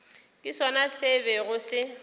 ke sona se bego se